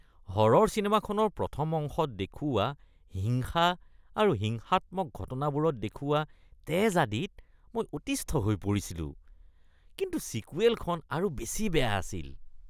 হৰৰ চিনেমাখনৰ প্ৰথম অংশত দেখুওৱা হিংসা আৰু হিংসাত্মক ঘটনাবোৰত দেখুওৱা তেজ আদিত মই অতিষ্ঠ হৈ পৰিছিলো, কিন্তু ছিকুৱেলখন আৰু বেছি বেয়া আছিল।